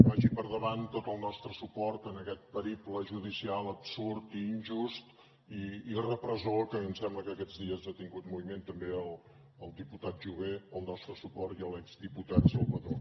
vagi per endavant tot el nostre suport a aquest periple judicial absurd i injust i repressor que ens sembla que aquests dies ha tingut moviment també el diputat jové el nostre suport i a l’exdiputat salvadó